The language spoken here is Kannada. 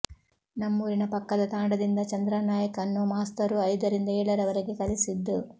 ನಮ್ಮೂರಿನ ಪಕ್ಕದ ತಾಂಡದಿಂದ ಚಂದ್ರಾನಾಯಕ್ ಅನ್ನೋ ಮಾಸ್ತರು ಐದರಿಂದ ಏಳರವರೆಗೆ ಕಲಿಸಿದ್ದು